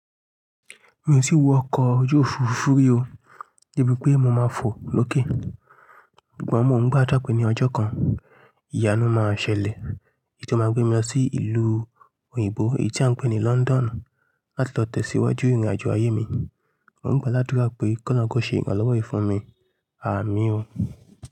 Mi ò tí wọ ọkọ̀ ojú òfurufú rí o, debi pé mo máa fò lókè. Ṣùgbọ́n mò ń gbà tà pé ní ọjọ́ kan, ìyanu máa ṣẹlẹ̀ èyí tó máa gbé mi lọ sí ìlú òyìnbó èyí tí a ń pè ní London láti lọ tẹ̀síwájú ìrìnàjò ayé mi. Mò ń gbà ládùrá pé kọ́loun kọ́ ṣe ìrànlọ́wọ́ yìí fún mi, ààmín o.